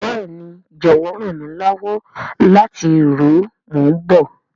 Béèni, jọwọ ran mi lọwọ lati ru o, mo n bọ.